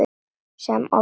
Sem oftar.